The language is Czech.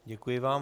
Děkuji vám.